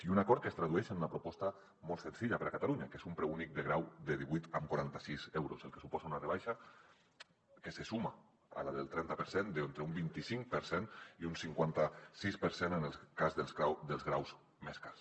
i un acord que es tradueix en una proposta molt senzilla per a catalunya que és un preu únic de grau de divuit coma quaranta sis euros el que suposa una rebaixa que se suma a la del trenta per cent d’entre un vinti cinc per cent i un cinquanta sis per cent en el cas dels graus més cars